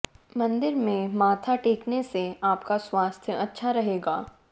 मंदिर में माथा टेकने से आपका स्वास्थ्य अच्छा रहेगा